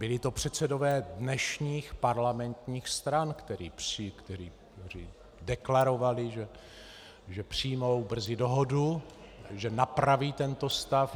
Byli to předsedové dnešních parlamentních stran, kteří deklarovali, že přijmou brzy dohodu, že napraví tento stav.